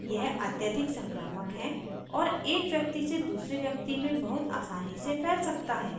यह अत्यधिक संक्रामक है और एक व्यक्ति से दूसरे व्यक्ति में बहुत आसानी से फैल सकता है